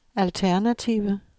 alternative